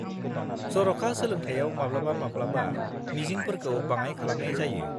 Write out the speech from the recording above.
जर'खा सोलोंथाइयाव माब्लाबा-माब्लाबा मिजिंफोरखौ बाङाइ खालामनाय जायो।